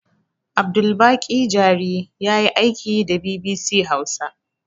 Abdulbaƙi jari yayi aiki da bibisi hausa